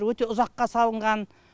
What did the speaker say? өте ұзаққа салынған